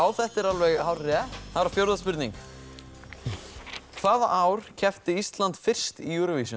þetta er alveg hárrétt þá er það fjórða spurning hvaða ár keppti Ísland fyrst í Eurovision